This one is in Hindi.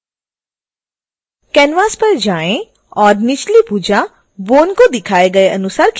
canvas पर वापस जाएं और निचली भुजा bone को दिखाए गए अनुसार खिसकाएँ